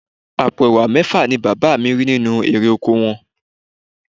Àpò Ẹ̀wà mẹ́fà ni bàbá mi rí nínú irè oko wọn